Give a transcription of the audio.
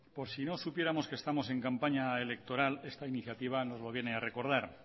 por si no supiéramos que estamos en campaña electoral esta iniciativa nos lo viene a recordar